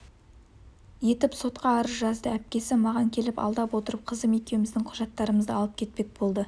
етіп сотқа арыз жазды әпкесі маған келіп алдап отырып қызым екеуіміздің құжаттарымызды алып кетпек болды